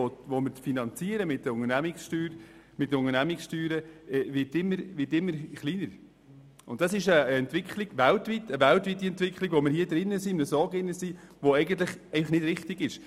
Der durch Unternehmenssteuern finanzierte Anteil wird immer geringer, und das ist eine weltweite Entwicklung, die einfach nicht richtig ist.